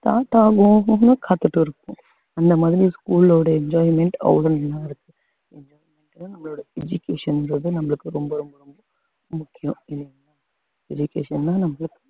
start ஆகும் காத்துட்டு இருப்போம் அந்த மாதிரி school ஓட enjoyment அவ்ளோ நல்லாருக்கும் enjoyment தான் நம்மளோட education ன்றது நம்மளுக்கு ரொம்ப ரொம்ப முக்கியம் ஏன்னா education தான் நம்மளுக்கு